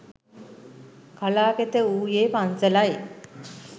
කලා කෙත වූයේ පන්සලයි